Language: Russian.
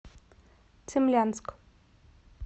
цимлянск